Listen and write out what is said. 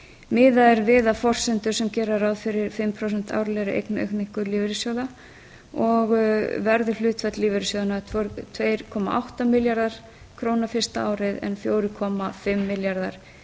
miðað er við að forsendur sem gera ráð fyrri fimm prósent árlegri eignaaukningu lífeyrissjóða og verður hlutfall lífeyrissjóðanna tvö komma átta milljarðar króna fyrsta árið en fjóra komma fimm milljarðar